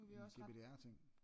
En GPDR-ting